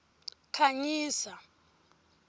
khanyisa